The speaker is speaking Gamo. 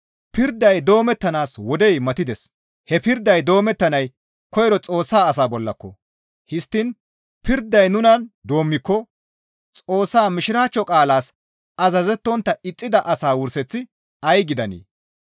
Pirday doomettanaas wodey matides; he pirday doomettanay koyro Xoossa asaa bollako! Histtiin pirday nunan doommiko Xoossa Mishiraachcho qaalaas azazettontta ixxida asaa wurseththi ay gidanee?